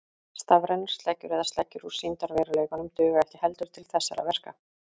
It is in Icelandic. Stafrænar sleggjur eða sleggjur úr sýndarveruleikanum duga ekki heldur til þessara verka.